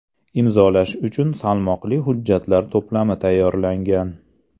Imzolash uchun salmoqli hujjatlar to‘plami tayyorlangan.